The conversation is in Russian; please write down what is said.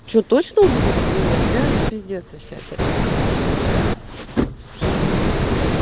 что точно уже будут менять блять пиздец вообще это пиздец